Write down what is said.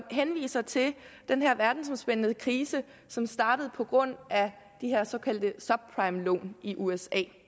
henviser til den her verdensomspændende krise som startede på grund af de her såkaldte subprimelån i usa